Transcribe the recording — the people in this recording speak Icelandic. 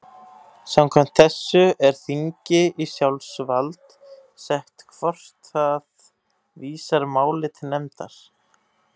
Samkvæmt þessu er þingi í sjálfsvald sett hvort það vísar máli til nefndar.